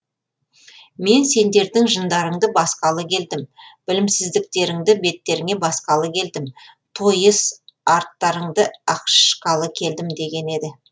мен сендердің жындарыңды басқалы келдім білімсіздіктеріңді беттеріңе басқалы келдім тойыс арттарыңды ақшқалы келдім деген еді